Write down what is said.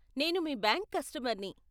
నేను మీ బ్యాంక్ కస్టమర్ని.